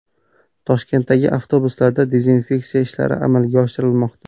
Toshkentdagi avtobuslarda dezinfeksiya ishlari amalga oshirilmoqda.